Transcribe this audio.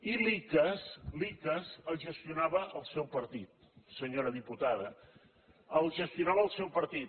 i l’icass el gestionava el seu partit senyora diputada el gestionava el seu partit